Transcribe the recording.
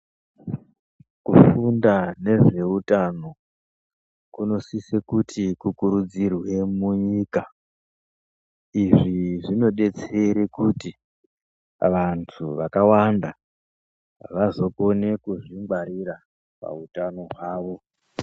Kufunda nezveutano kunosise kuti kukurudzirwe munyika. Izvi zvinodetsee kuti vantu vakawanda vazokone kuzvingwarira pautano hwavo.